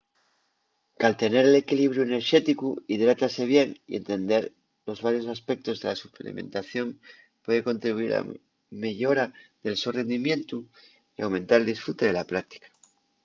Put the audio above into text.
caltener l'equilibriu enerxéticu hidratase bien y entender los varios aspectos de la suplementación puede contribuyir a la meyora del so rendimientu y aumentar el disfrute de la práctica